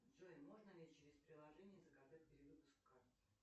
джой можно ли через приложение заказать перевыпуск карты